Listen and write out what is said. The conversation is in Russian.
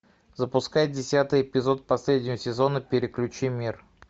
запускай десятый эпизод последнего сезона переключи мир